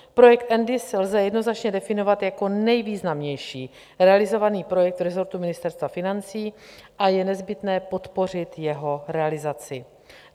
Projekt nDIS lze jednoznačně definovat jako nejvýznamnější realizovaný projekt resortu Ministerstva financí a je nezbytné podpořit jeho realizaci.